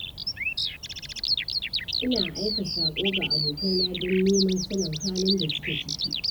Ina aika saƙo ga abokaina don neman sanin halin da suke ciki.